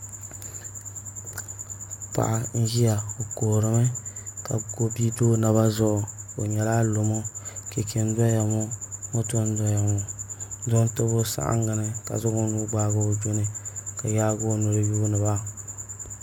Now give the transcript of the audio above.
Paɣa n ʒiya o kuhurimi ka bia do o naba zuɣu o nyɛla alomo chɛchɛ n doya ŋo moto n doya ŋo doo n tabi o saɣangi ni ka zaŋ o nuu gbaagi o dini ka yaagi o noli yuundiba